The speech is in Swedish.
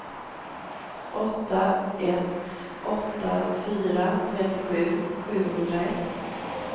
åtta ett åtta fyra trettiosju sjuhundraett